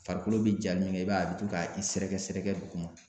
Farikolo be ja min kɛ i b'a ye a be to ka i sɛrɛgɛsɛrɛgɛ dugu ma.